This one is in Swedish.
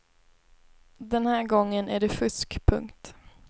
Den här gången är det fusk. punkt